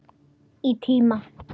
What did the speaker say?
Í tíma.